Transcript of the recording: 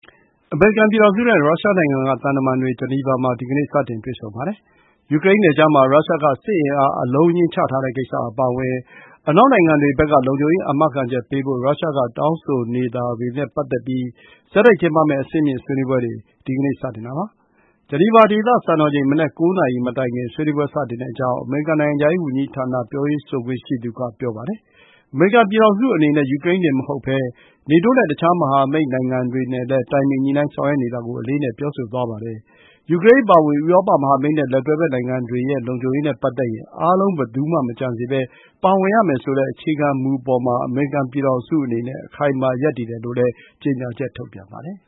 အမေရိကန်ပြည်ထောင်စုနဲ့ ရုရှားနိုင်ငံကသံတမန်တွေ ဂျနီဗာမှာ ဒီကနေ့ စတင်တွေ့ဆုံပါတယ်။ ယူကရိန်းနယ်ခြားမှာ ရုရှားက စစ်အင်အား အလုံးအရင်းချထားတဲ့ကိစ္စအပါအဝင် အနောက် နိုင်ငံတွေဘက်က လုံခြုံရေးအာမခံချက်ပေးဖို့ ရုရှားက တောင်းဆိုနေတာတွေနဲ့ ပတ်သက်ပြီး ဆက်တိုက်ကျင်းပမယ့် အဆင့်မြင့် ဆွေးနွေးပွဲတွေ ဒီကနေ့ စတင်ပါတယ်။ ဂျနီဗာ ဒေသစံတော်ချိန် မနက် ၉ နာရီမတိုင်ခင် ဆွေးနွေးပွဲစတင်တဲ့အကြောင်း အမေရိကန် နိုင်ငံခြားရေးဝန်ကြီးဌာန ပြောရေးဆိုခွင့်ရှိသူက ပြောပါတယ်။ အမေရိကန် ပြည်ထောင်စုအနေနဲ့ ယူကရိန်းတင်မဟုတ်ဘဲ နေတိုးနဲ့ တခြားမဟာမိတ်နိုင်ငံတွေနဲ့လည်း တိုင်ပင်ညှိနိုင်းဆောင်ရွက်နေတာကို အလေးအနက် ပြောဆိုသွားပါတယ်။ ယူကရိန်းအပါအဝင် ဥရောပမဟာမိတ်နဲ့ လက်တွဲဘက် နိုင်ငံတွေရဲ့လုံခြုံရေးနဲ့ ပတ်သက်ရင် အားလုံးဘယ်သူမှမကျန်စေဘဲ ပါဝင်ရမယ်ဆိုတဲ့ အခြေခံမူအပေါ်မှာ အမေရိကန် ပြည်ထောင်စုအနေနဲ့ အခိုင်အမာရပ်တည်တယ်လို့လည်း ကြေညာချက် ထုတ်ပြန်ပါတယ်။